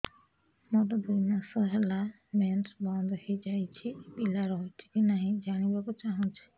ମୋର ଦୁଇ ମାସ ହେଲା ମେନ୍ସ ବନ୍ଦ ହେଇ ଯାଇଛି ପିଲା ରହିଛି କି ନାହିଁ ଜାଣିବା କୁ ଚାହୁଁଛି